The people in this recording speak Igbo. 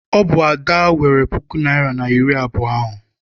Ọ bụ Ada weere puku naịra na iri abụọ ahụ.